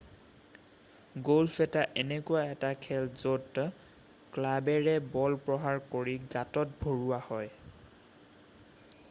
golf এটা এনেকুৱা এটা খেল য'ত ক্লাৱেৰে বল প্ৰহাৰ কৰি গাতত ভৰোৱা হয়